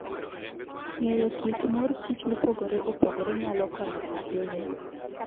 Ng'eyo kit kit mor kich mopogore opogore nyalo konyo ahinya.